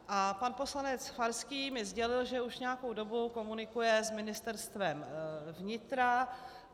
A pan poslanec Farský mi sdělil, že už nějakou dobu komunikuje s Ministerstvem vnitra.